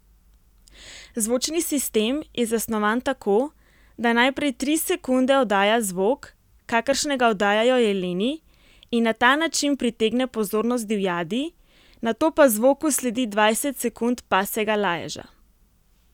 Zvočni sistem je zasnovan tako, da najprej tri sekunde oddaja zvok, kakršnega oddajajo jeleni, in na ta način pritegne pozornost divjadi, nato pa zvoku sledi dvajset sekund pasjega laježa.